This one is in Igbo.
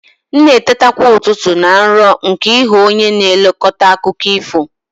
M na-eteta kwa ụtụtụ na nrọ nke ịghọ onye na-elekọta akụkọ ifo.